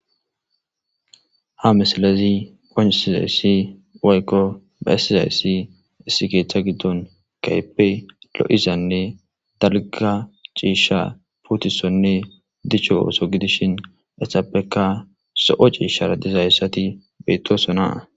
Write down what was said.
Ha misilezi qonccissizayssi woykko bessizayssi issi keththa giddon kehipe lo'izanne darikka cisha puttisonne dichcho otho giddishin hessapekka zo'o cishara dizaytti bettosona.